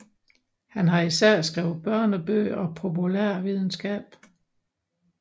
Han har især skrevet børnebøger og populærvidenskab